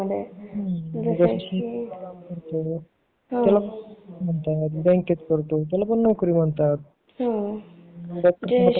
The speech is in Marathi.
जसं शेतीत करतो बँकेत करतो त्याला पण नोकरी म्हणतात